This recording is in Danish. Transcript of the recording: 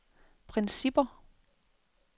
principper